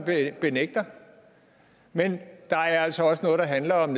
benægter men der er altså også noget der handler om